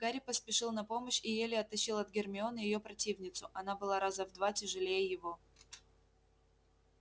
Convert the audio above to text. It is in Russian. гарри поспешил на помощь и еле оттащил от гермионы её противницу она была раза в два тяжелее его